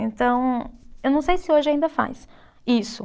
Então, eu não sei se hoje ainda faz isso.